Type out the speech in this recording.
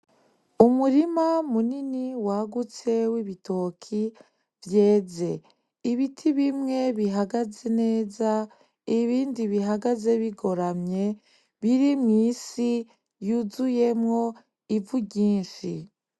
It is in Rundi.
Umurima munini wagutse w’ibitoke vyeze. Ibiti bimwe bihagaze neza ibindi bihagaze bigoramye biri mw’isi yuzuyemwo ivu ryinshi .